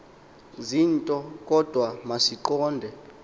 zinto kodwa masiqonde